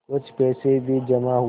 कुछ पैसे भी जमा हुए